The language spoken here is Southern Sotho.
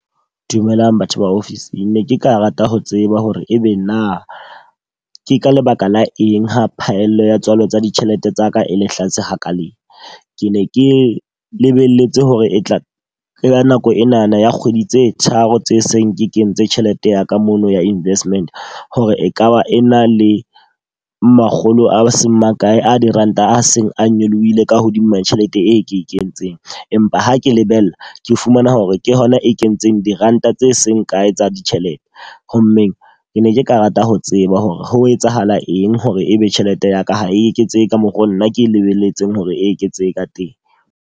Dumelang batho ba office-ng. Ne ke ka rata ho tseba hore e be na ke ka lebaka la eng ha phaello ya tswalo tsa ditjhelete tsa ka e le hlatswe hakale? Ke ne ke lebelletse hore e tla ka nako enana ya kgwedi tse tharo tse seng ke kentse tjhelete ya ka mono ya investment hore e ka ba e na le makgolo a seng makae a diranta a seng a nyolohile ka hodima tjhelete, e ke e kentseng. Empa ha ke lebella, ke fumana hore ke hona e kentseng diranta tse seng kae tsa ditjhelete. Ho mmeng ke ne ke ka rata ho tseba hore ho etsahala eng hore e be tjhelete ya ka ha e eketsehe ka mokgo nna ke e lebelletseng hore e eketsehe ka teng.